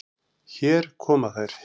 Hér koma þær.